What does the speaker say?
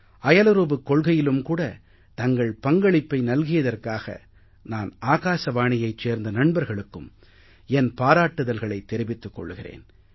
அயலுறவுக் கொள்கையிலும் கூட தங்கள் பங்களிப்பை நல்கியதற்காக நான் ஆகாசவாணியைச் சேர்ந்த நண்பர்களுக்கும் என் பாராட்டுதல்களைத் தெரிவித்துக் கொள்கிறேன்